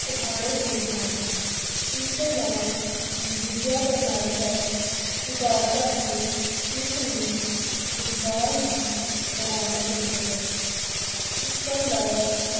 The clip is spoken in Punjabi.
ਉਠਾਉਣੇ ਚਾਹੀਦੇ ਹਨ, ਇਸ ਦੇ ਨਾਲ ਹੀ ਵਿੱਦਿਆ ਪ੍ਰਣਾਲੀ ਦਾ ਸੁਧਾਰ ਕਰਕੇ ਇਸ ਨੂੰ ਰੁਜ਼ਗਾਰ ਮੁਖੀ ਬਣਾਉਣਾ ਚਾਹੀਦਾ ਹੈ, ਇਸ ਤੋਂ ਇਲਾਵਾ